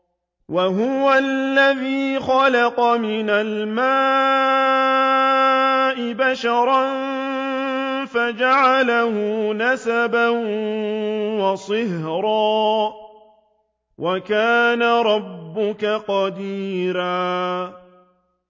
وَهُوَ الَّذِي خَلَقَ مِنَ الْمَاءِ بَشَرًا فَجَعَلَهُ نَسَبًا وَصِهْرًا ۗ وَكَانَ رَبُّكَ قَدِيرًا